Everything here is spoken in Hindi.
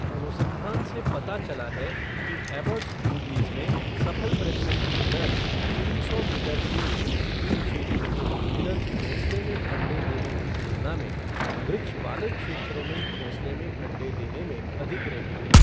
अनुसंधान से पता चला है कि एबॉट्स बूबीज में सफल प्रजनन की दर तीन सौ मीटर के वृक्षहीन क्षेत्र के भीतर घोंसले में अंडे देने की तुलना में वृक्ष वाले क्षेत्रों में घोंसले में अंडे देने में अधिक रही है।